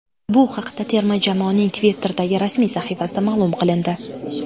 Bu haqda terma jamoaning Twitter’dagi rasmiy sahifasida ma’lum qilindi.